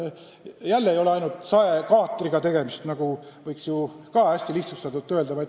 Ei ole ainult saekaatriga tegemist, nagu võiks ju hästi lihtsustatult öelda.